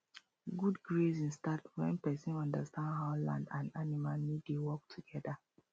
good grazing start when person understand how land and animals need dey work together